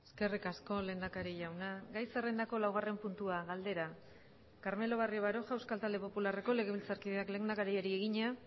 eskerrik asko lehendakari jauna gai zerrendako laugarren puntua galdera carmelo barrio baroja euskal talde popularreko legebiltzarkideak lehendakariari egina